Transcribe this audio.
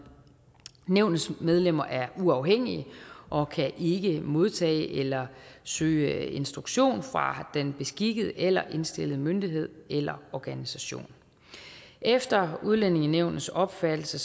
nævnets medlemmer er uafhængige og kan ikke modtage eller søge instruktion fra den beskikkede eller indstillede myndighed eller organisation efter udlændingenævnets opfattelse